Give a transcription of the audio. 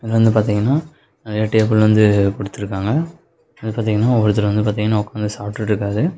இது வந்து பாத்தீங்கன்னா நெறைய டேபிள் வந்து குடுத்துருக்காங்க அது பார்த்தீங்கன்னா ஒருத்தர் வந்து பாத்தீங்கன்னா உக்காந்து சாப்டுட்ருக்காரு.